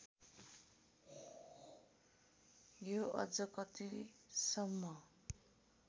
यो अझ कतिसम्म